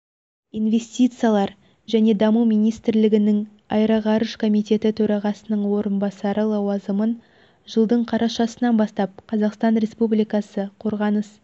инвестициялар және даму министрлігінің аэроғарыш комитеті төрағасының орынбасары лауазымын жылдың қарашасынан бастап қазақстан республикасы қорғаныс